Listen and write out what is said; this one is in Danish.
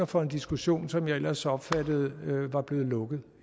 for en diskussion som jeg ellers opfattede var blevet lukket